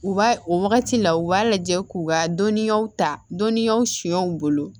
U b'a o wagati la u b'a lajɛ k'u ka dɔnniyaw ta dɔnniyaw siɲɛw bolo